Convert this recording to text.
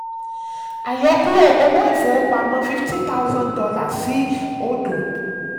àyọkúrò owó ìfowópamọ́: fifty thousand dollars sí odo.